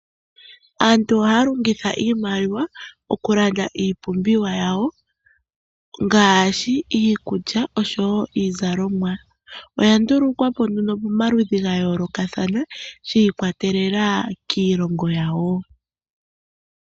Aantu ohaya longitha iimaliwa oku landa iipumbiwa yawo ngashi iikulya osho wo iizalomwa. Oya ndulukwapo nduno pamaludhi ga yoolokathana, shiikwatelela kiilongo yawo.